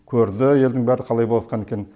көрді елдің бәрі қалай боп жатқан екенін